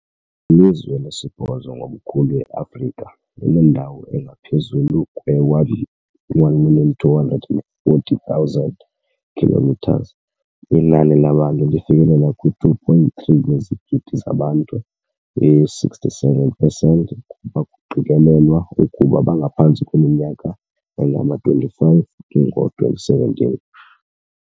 Lilizwe lesibhozo ngobukhulu eAfrika, linendawo engaphezulu kwe-1,240,000 kilometres, inani labantu lifikelela kwi-2.3 yezigidi zabantu, i-67 pesenti kuba kuqikelelwa ukuba bangaphantsi kweminyaka engama-25 ngo-2017.